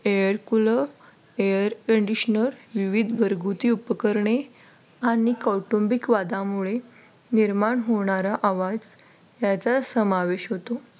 air cooler, air conditioner विविध घरगुती उपकरणे आणि कौटुंबिक वादामुळे निर्माण होणारा आवाज याचा समावेश होतो